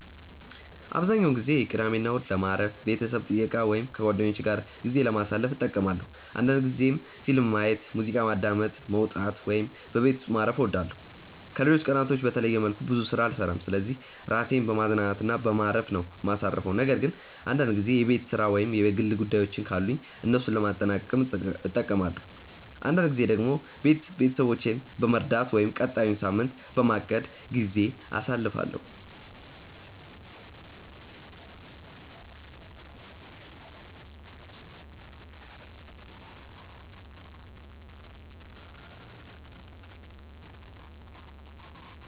አብዛኛውን ጊዜ ቅዳሜና እሁድን ለማረፍ፣ ቤተሰብ ጥየቃ ወይም ከጓደኞቼ ጋር ጊዜ ለማሳለፍ እጠቀማለሁ አንዳንድ ጊዜም ፊልም ማየት፣ ሙዚቃ ማዳመጥ፣ መውጣት ወይም በቤት ውስጥ ማረፍ እወዳለሁ። ከሌሎች ቀናቶች በተለየ መልኩ ብዙ ስራ አልሰራም ስለዚህ ራሴን በማዝናናት እና በማረፍ ነው ማሳርፈው ነገር ግን አንዳንድ ጊዜ የቤት ስራ ወይም የግል ጉዳዮችን ካሉኝ እነሱን ለማጠናቀቅም እጠቀማለሁ። አንዳንድ ጊዜ ደግሞ ቤት ውስጥ ቤተሰቦቼን በመርዳት ወይም ቀጣዩን ሳምንት በማቀድ ጊዜ አሳልፋለሁ።